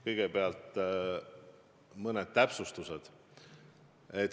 Kõigepealt mõned täpsustused.